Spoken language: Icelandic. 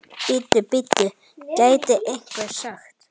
Bíddu, bíddu, gæti einhver sagt.